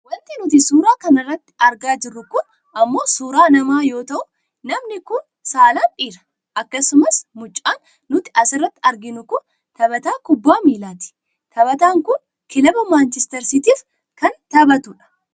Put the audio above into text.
Wanti nuti suuraa kana irratti argaa jirru kun ammoo suuraa nama yoo ta'u namni kun saalan dhiira. Akkasumas mucaan nuti asirratti arginu kun taphataa kubbaa miilaati. Taphataan kun kilaba manchiister siitiif kan taphatudha.